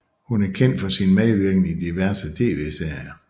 Hun er kendt for sin medvirken i diverse tv serier